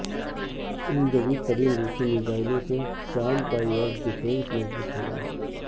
ان جدید ترین روسی میزائلوں سے شام کا ائیر ڈیفنس مضبوط ہو گا